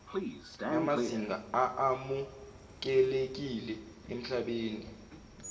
namazinga amukelekile emhlabeni